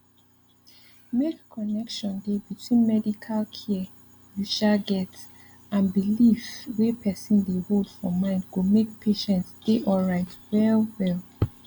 make connection dey between medical care you um get and belief wey person dey hold for mind go make patient dey alright well well